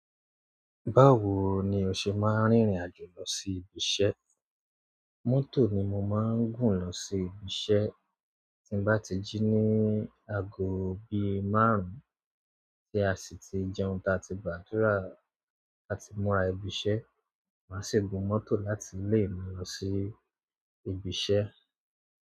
Báwo ni o ṣe máa ń rìnrìn-àjò lọ sí ibiṣẹ́? Mọ́tò ni mo máa ń gùn lọ sí ibiṣẹ́. Tí mo bá ti jí ní aago bíi márùn-ún tí a sì ti jẹun táa ti í gbàdúrà àti múra ibi iṣẹ́, màá sì gun mọ́tò láti lè mi lọ sí ibi iṣẹ́.